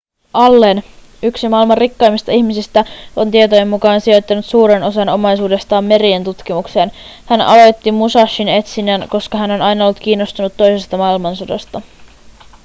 allen yksi maailman rikkaimmista ihmisistä on tietojen mukaan sijoittanut suuren osan omaisuudestaan merien tutkimukseen hän aloitti musashin etsinnän koska hän on aina ollut kiinnostunut toisesta maailmansodasta